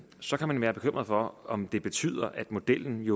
så kan man være bekymret for om det betyder at modellen